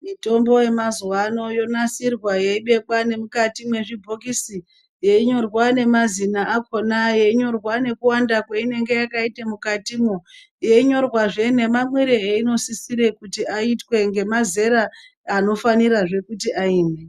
Mitombo yemazuva ano yonaisirwa yeibekwa nemwukati mwezvibhokisi, yeinyorwa nemazina akona, yeinyorwa nekuwanda kweinenge yakaita mwukati, yeinyorwazve nemamwire einosisire kuti aitwe ngemazera anofanirazve kuti aimwe.